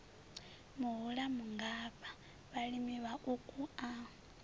muhula mungafha vhalimi vhauku a